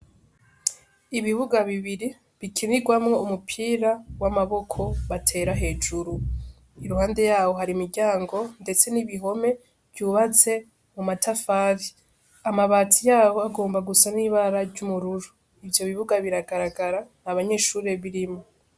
Ibibuga bibiri bikinigwamwo umupira w' amaboko batera hejuru iruhande yaho hari imiryango ndetse n' ibihome vyubatse mu matafari amabati yaho agomba gusa n' ibara ry'ubururu ivyo bibuga biragaragara nta banyeshure birimwo.